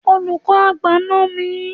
Olùkọ́ àgbà náà nà mí.